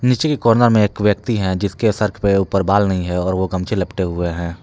नीचे के कोना में एक व्यक्ति है जिसके सर के ऊपर बाल नही है और वो गमछे लपेटे हुए हैं।